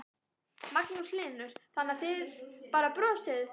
Magnús Hlynur: Þannig að þið bara brosið?